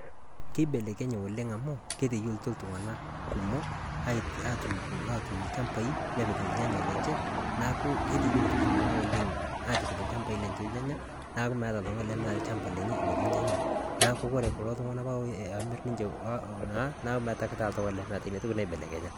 keibelekenye oleng amu keteyietutuo iltunganak kumok aturr ilchambai nepik ilnyanyan lenye neaku keteyietutuo iltunganak oleng nepik ilchambai lenye ilnyanya lenya metaa ketii ilnyanya pawore kulo tung'anak metaa meta oltung'ani lemeeta